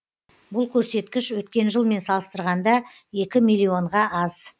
бұл көрсеткіш өткен жылмен салыстырғанда екі милллионға аз